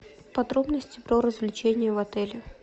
подробности про развлечения в отеле